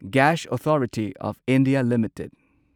gas authority of India limited